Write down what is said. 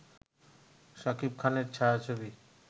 সাকিব খানের ছায়াছবি